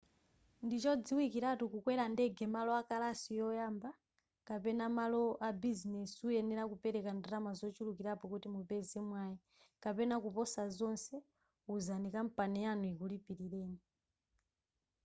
ndichodziwikiratu kukwera ndege malo akalasi yoyamba kapena malo abizinezi uyenera kupereka ndalama zochulukirapo kuti mupeze mwayi kapena kuposa zonse wuzani kampani yanu ikulipilireni